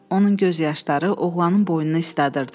Onun göz yaşları oğlanın boynunu isladırdı.